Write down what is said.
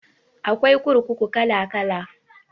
Akwai kurkuku kala kala